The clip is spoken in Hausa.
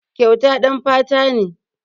Kyauta ɗan fata ne.